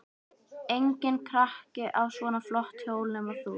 Enginn krakki á svona flott hjól nema þú.